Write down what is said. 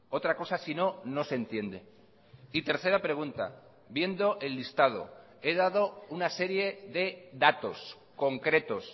otra cosa sino no se entiende y tercera pregunta viendo el listado he dado una serie de datos concretos